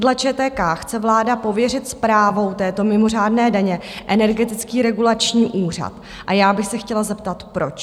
Dle ČTK chce vláda pověřit správou této mimořádné daně Energetický regulační úřad a já bych se chtěla zeptat, proč.